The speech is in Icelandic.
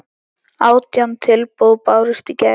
Átján tilboð bárust í gær.